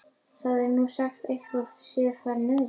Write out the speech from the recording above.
Það er nú sagt að eitthvað sé þar niðri.